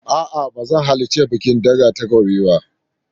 A'a ba zan halarci bikin ɗaga takobin ba.